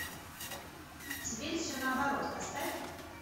теперь все наоборот поставь